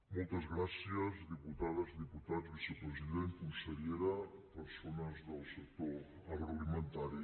moltes gràcies diputades diputats vicepresident consellera persones del sector agroalimentari